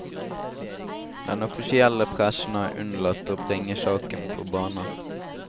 Den offisielle pressen har unnlatt å bringe saken på bane.